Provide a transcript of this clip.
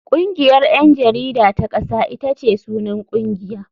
Kungiyar 'yan jarida ta kasa ita ce sunan kungiya.